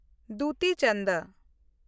ᱫᱩᱛᱤ ᱪᱚᱱᱫ